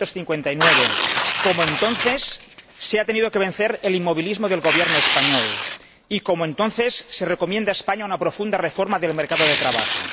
1959. Como entonces, se ha tenido que vencer el inmovilismo del Gobierno español y, como entonces, se recomienda a España una profunda reforma del mercado de trabajo.